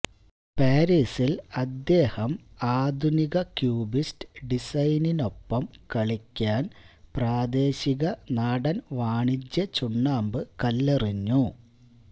പാരിസിൽ അദ്ദേഹം ആധുനിക ക്യൂബിസ്റ്റ് ഡിസൈനിനൊപ്പം കളിക്കാൻ പ്രാദേശിക നാടൻ വാണിജ്യ വാണിജ്യ ചുണ്ണാമ്പ് കല്ലെറിഞ്ഞു